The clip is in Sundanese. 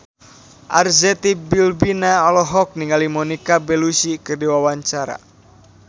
Arzetti Bilbina olohok ningali Monica Belluci keur diwawancara